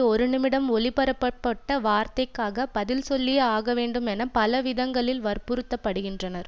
ஒருநிமிடம் ஒலிபரப்பப்பட்ட வார்த்தைக்காக பதில் சொல்லியே ஆக வேண்டும் என பல விதங்களில் வற்புறுத்தப்படுகின்றனர்